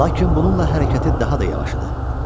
Lakin bununla hərəkəti daha da yavaş idi.